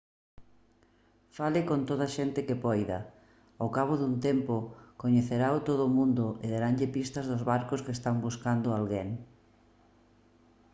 fale con toda a xente que poida ao cabo dun tempo coñecerao todo o mundo e daranlle pistas dos barcos que están buscando a alguén